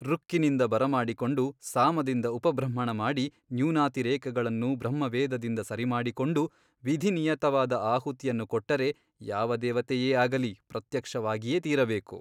ಋಕ್ಕಿನಿಂದ ಬರಮಾಡಿಕೊಂಡು ಸಾಮದಿಂದ ಉಪಬೃಂಹಣಮಾಡಿ ನ್ಯೂನಾತಿರೇಕಗಳನ್ನು ಬ್ರಹ್ಮವೇದದಿಂದ ಸರಿಮಾಡಿಕೊಂಡು ವಿಧಿನಿಯತವಾದ ಆಹುತಿಯನ್ನು ಕೊಟ್ಟರೆ ಯಾವ ದೇವತೆಯೇ ಆಗಲಿ ಪ್ರತ್ಯಕ್ಷವಾಗಿಯೇ ತೀರಬೇಕು.